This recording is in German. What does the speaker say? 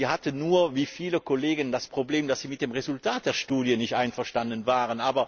Sie hatte nur wie viele Kolleg das Problem, dass sie mit dem Resultat der Studie nicht einverstanden war.